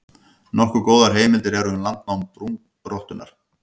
Nokkuð góðar heimildir eru um landnám brúnrottunnar.